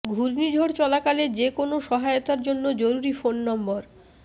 ঘূর্ণিঝড় চলাকালে যে কোন সহায়তার জন্য জরুরি ফোন নম্বর